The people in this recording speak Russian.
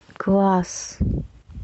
класс